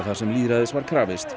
þar sem lýðræðis var krafist